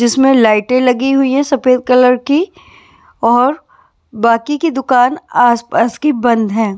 जिसमें लाइटें लगी हुई है सफेद कलर की और बाकी की दुकान आसपास की बंद है।